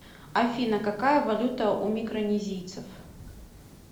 афина какая валюта у микронезийцев